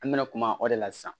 An bɛna kuma o de la sisan